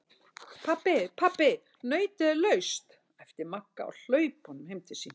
Pabbi, pabbi nautið er laust! æpti Magga á hlaupunum heim til sín.